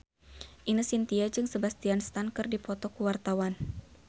Ine Shintya jeung Sebastian Stan keur dipoto ku wartawan